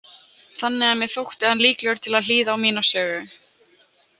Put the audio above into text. Þannig að mér þótti hann líklegur til að hlýða á mína sögu.